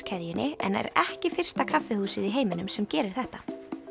keðjunni en er ekki fyrsta kaffihúsið í heiminum sem gerir þetta